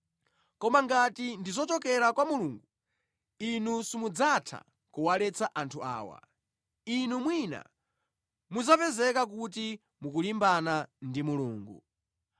Koma ngati ndi zochokera kwa Mulungu inu simudzatha kuwaletsa anthu awa: inu mwina muzapezeka kuti mukulimbana ndi Mulungu.”